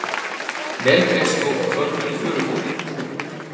Melgresi og hvönn í Furufirði.